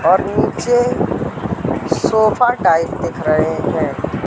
और नीचे sofa type दिख रहे हैं।